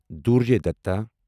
دُرجوے دتا